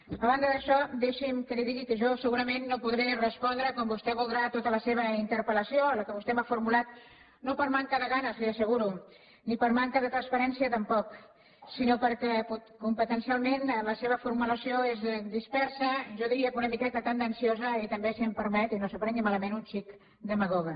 a banda d’això deixi’m que li digui que jo segurament no podré respondre com vostè voldrà a tota la seva interpel·lació a la que vostè m’ha formulat no per manca de ganes li ho asseguro ni per manca de transparència tampoc sinó perquè competencialment la seva formulació és dispersa jo diria que una miqueta tendenciosa i també si m’ho permet i no s’ho prengui malament un xic demagoga